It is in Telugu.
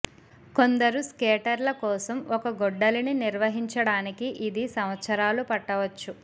కొందరు స్కేటర్ల కోసం ఒక గొడ్డలిని నిర్వహించడానికి ఇది సంవత్సరాలు పట్టవచ్చు